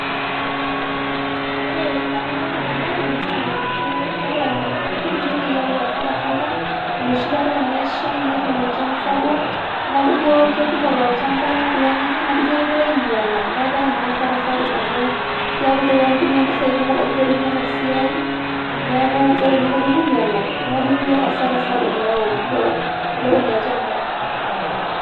ore pemanyor ena bae naa keeta kidim duo naji ayau asara sapuk enoshi kata tenesha netum enchan sapuk niaku ijo kekumok tolchamba kulo nyanya niaku ijo kegira ainyiala naa keaku naa hasara sapuk amu ebaiki apa nintumia mpisai kumok pinterunyie ena siai neaku ore ne teneponu ainyiala niaku iji hasara sapuk eeu tolopeny olchamba.